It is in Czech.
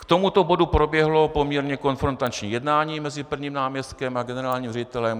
K tomuto bodu proběhlo poměrně konfrontační jednání mezi prvním náměstkem a generálním ředitelem.